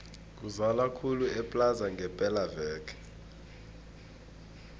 kuzala khulu eplaza ngepela veke